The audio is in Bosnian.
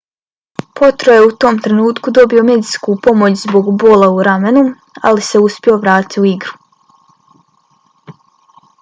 potro je u tom trenutku dobio medicinsku pomoć zbog bola u ramenu ali se uspio vratiti u igru